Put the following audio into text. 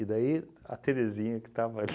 E daí a Terezinha, que estava